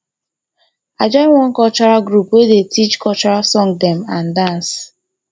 i join one cultural group wey dey teach cultural song dem and dance